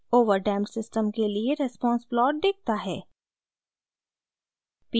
over damped system के लिए response plot दिखता है